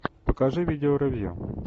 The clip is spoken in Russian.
покажи видео ревью